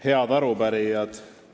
Head arupärijad!